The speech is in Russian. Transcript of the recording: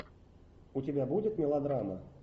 у тебя будет мелодрама